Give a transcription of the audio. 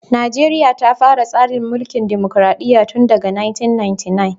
Najeriya ta fara tsarin mulkin dimokradiyya tun daga 1999.